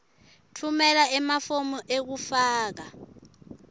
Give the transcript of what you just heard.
tfumela emafomu ekufaka